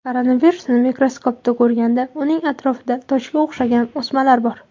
Koronavirusini mikroskopda ko‘rganda, uning atrofida tojga o‘xshagan o‘smalar bor.